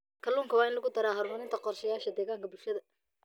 Kalluunka waa in lagu daraa qorshayaasha horumarinta deegaanka ee bulshada.